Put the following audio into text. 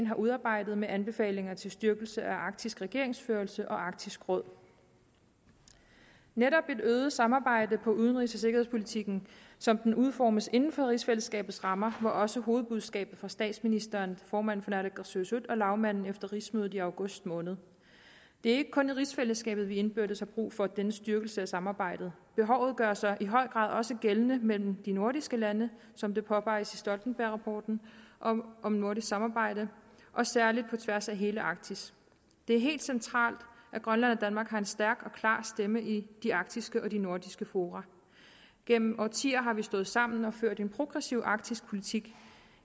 har udarbejdet med anbefalinger til styrkelse af arktisk regeringsførelse og arktisk råd netop et øget samarbejde om udenrigs og sikkerhedspolitikken som den udformes inden for rigsfællesskabets rammer var også hovedbudskabet fra statsministeren formanden for naalakkersuisut og lagmanden efter rigsmødet i august måned det er ikke kun i rigsfællesskabet vi indbyrdes har brug for denne styrkelse af samarbejdet behovet gør sig i høj grad også gældende mellem de nordiske lande som det påpeges i stoltenbergrapporten om om nordisk samarbejde og særligt på tværs af hele arktis det er helt centralt at grønland og danmark har en stærk og klar stemme i de arktiske og de nordiske fora gennem årtier har vi stået sammen og ført en progressiv arktisk politik